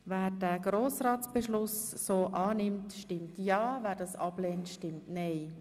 Wer den Grossratsbeschluss so annimmt, stimmt ja, wer ihn ablehnt, stimmt nein.